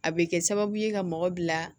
A bɛ kɛ sababu ye ka mɔgɔ bila